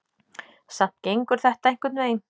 Samt gengur þetta einhvern veginn.